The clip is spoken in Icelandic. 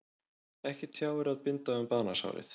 Ekki tjáir að binda um banasárið.